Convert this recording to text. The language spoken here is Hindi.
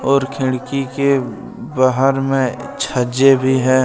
और खिड़की के बाहर में छज्जे भी है।